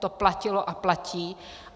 To platilo a platí.